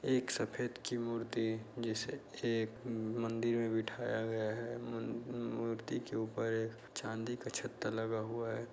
एक सफेद की मूर्ति जिसे एक उम मंदिर में बिठाया गया है मु-मूर्ति के ऊपर एक चांदी का छता लगा हुआ है।